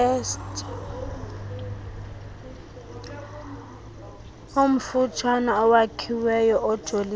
omfutshane owakhiweyo ojolise